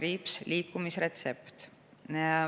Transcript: Mis see on?